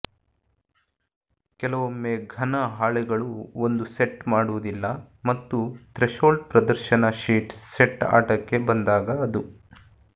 ಕೆಲವೊಮ್ಮೆ ಘನ ಹಾಳೆಗಳು ಒಂದು ಸೆಟ್ ಮಾಡುವುದಿಲ್ಲ ಮತ್ತು ಥ್ರೆಶೋಲ್ಡ್ ಪ್ರದರ್ಶನ ಶೀಟ್ ಸೆಟ್ ಆಟಕ್ಕೆ ಬಂದಾಗ ಅದು